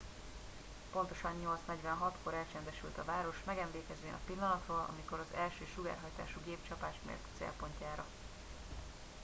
pontosan 8 46 kor elcsendesült a város megemlékezvén a pillanatról amikor az első sugárhajtású gép csapást mért a célpontjára